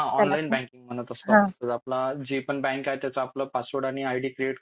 जयला आपण online banking म्हणत असतो जे पण बँक आहेत त्याचं बँक त्याचा आपलं पासवर्ड आयडी क्रिएट